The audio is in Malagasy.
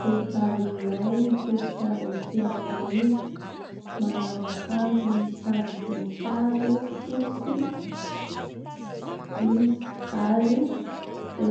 Vehivavy iray mitodika avy atỳ aorina, manao akanjo misy sarim-boninkazo fotsy izy ary